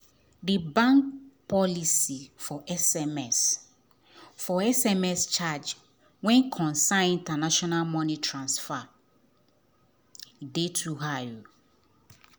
di bank policy for sms for sms charge wen concern international money transfer dey too high